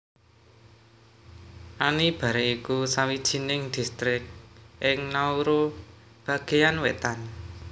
Anibare iku sawijining distrik ing Nauru bagéan wétan